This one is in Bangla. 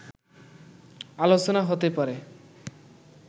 আলোচনা হতে পারে